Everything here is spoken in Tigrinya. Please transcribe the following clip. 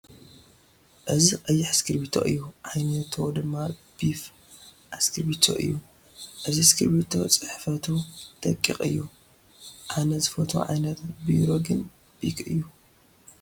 እዚ ቀይሕ እስክርቢቶ እዩ፡፡ ዓይነቶ ድማ ቢፋ እስክርቢቶ እዩ፡፡ እዚ ስክርቢቶ ፅሕፈቱ ደቂቅ እዩ፡፡ ኣነ ዝፈትዎ ዓይነት ቢሮ ግን ቢክ እዩ፡፡